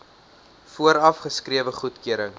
vooraf geskrewe goedkeuring